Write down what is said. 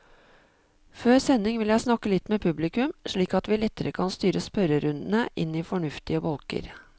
Før sending vil jeg snakke litt med publikum, slik at vi lettere kan styre spørrerundene inn i fornuftige bolker.